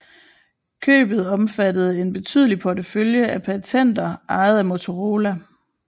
Købet omfattede en betydelig portefølje af patenter ejet af Motorola